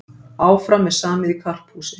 Áfram er samið í karphúsi